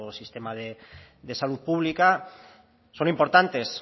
sistema de salud pública son importantes